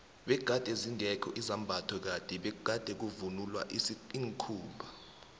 begade zingekho izambatho kade bekuvunulwa iinkhumba